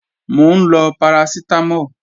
Mò ń lọ parasitamo